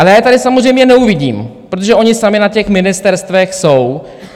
Ale já je tady samozřejmě neuvidím, protože oni sami na těch ministerstvech jsou.